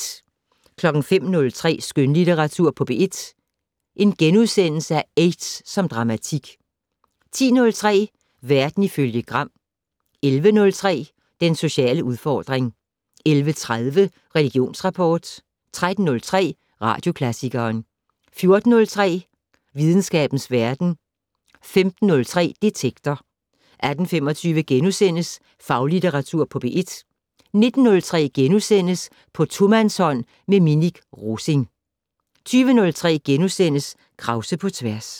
05:03: Skønlitteratur på P1 - Aids som dramatik * 10:03: Verden ifølge Gram 11:03: Den sociale udfordring 11:30: Religionsrapport 13:03: Radioklassikeren 14:03: Videnskabens verden 15:03: Detektor 18:25: Faglitteratur på P1 * 19:03: På tomandshånd med Minik Rosing * 20:03: Krause på tværs *